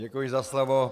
Děkuji za slovo.